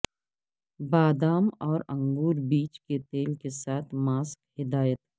بادام اور انگور بیج کے تیل کے ساتھ ماسک ہدایت